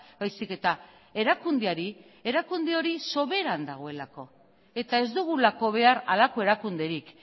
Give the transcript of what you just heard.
baizik eta erakundeari erakunde hori soberan dagoelako eta ez dugulako behar halako erakunderik